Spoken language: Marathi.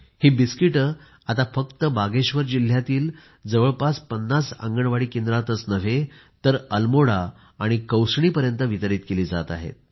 ही बिस्किटे आता फक्त बागेश्वर जिल्ह्यातील जवळजवळ पन्नास आंगणवाडी केंद्रातच नव्हे तर अल्मोडा आणि कौसणी पर्यंत वितरित केली जात आहेत